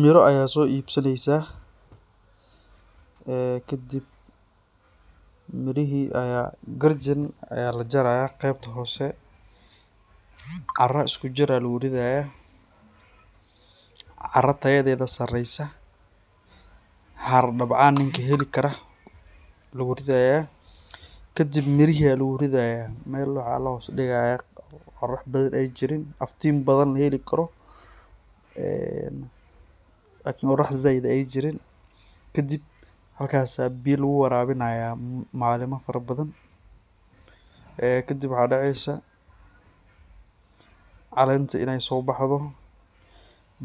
Miro ayaa so ibsaneysaah ee kadib mirihi ayaa garjan ayaa lajarayah qebta hose, cara iskujir eh aa luguridayaa , cara tayadeda sareysah, xar dabcaan ninki heli karah aa luguridaya, kadib mirihi aa luguriyada mel waxaa lahos digayaa qorax bathan ay jirin aftin bathan laheli karo ee qorax zaid ay jirin, kadib markas aa biya luguwarabinayaa malima fara bathan, ee kadib waxaa deceysaah calenta in ay sobaxdho,